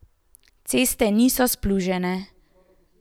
Ceste niso splužene.